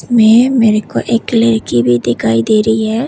मिल्को एक लड़की भी दिखाई दे रही है।